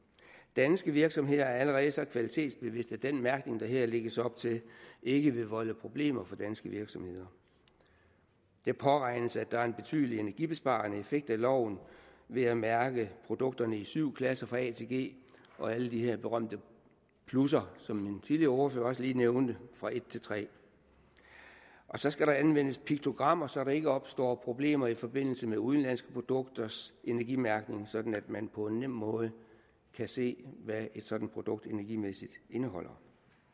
danske virksomheder er allerede så kvalitetsbevidste at den mærkning der her lægges op til ikke vil volde problemer for danske virksomheder det påregnes at der er en betydelig energibesparende effekt af loven ved at mærke produkterne i syv klasser fra a til g og alle de her berømte plusser som en tidligere ordfører også lige nævnte fra et til tre så skal der anvendes piktogrammer så der ikke opstår problemer i forbindelse med udenlandske produkters energimærkning sådan at man på en nem måde kan se hvad et sådant produkt energimæssigt indeholder